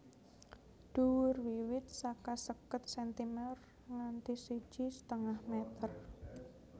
Dhuwur wiwit saka seket sentimer nganti siji setengah meter